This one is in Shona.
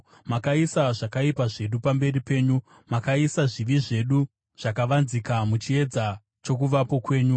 Makaisa zvakaipa zvedu pamberi penyu, makaisa zvivi zvedu zvakavanzika muchiedza chokuvapo kwenyu.